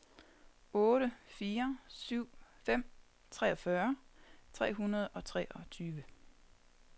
otte fire syv fem treogfyrre tre hundrede og otteogtyve